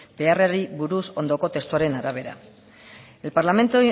beharrari buruz ondoko testuaren arabera el parlamento